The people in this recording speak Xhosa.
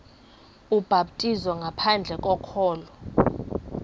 ubhaptizo ngaphandle kokholo